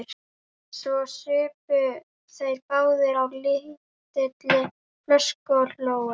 Svo supu þeir báðir á lítilli flösku og hlógu.